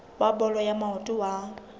wa bolo ya maoto wa